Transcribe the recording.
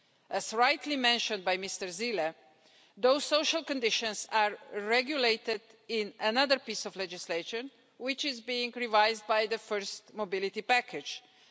As rightly mentioned by Mr Zīle, those social conditions are regulated in another piece of legislation, which is being revised under Mobility Package I.